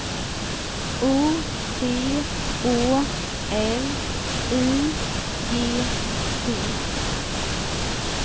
O T Å L I G T